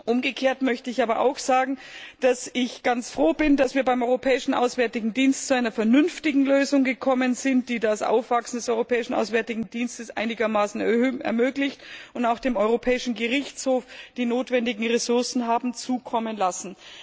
Umgekehrt möchte ich aber auch sagen, dass ich ganz froh bin, dass wir beim Europäischen Auswärtigen Dienst zu einer vernünftigen Lösung gekommen sind, die das Aufwachsen des Europäischen Auswärtigen Dienstes einigermaßen ermöglicht, und auch dem Europäischen Gerichtshof die notwendigen Ressourcen haben zukommen lassen.